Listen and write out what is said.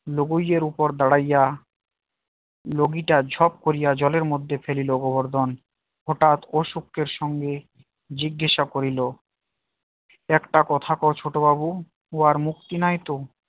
লোগোই এর উপরে দাঁড়াইয়া লগিটা ঝপ করিয়া জলের মধ্যে ফেলিলো গোবর্ধন হঠাৎ ও শক্তির সঙ্গে জিজ্ঞাসা করিল একটা কথা কও ছোট বাবু ও আর মুক্তি নাই তো